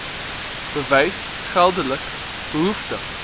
bewys geldelik behoeftig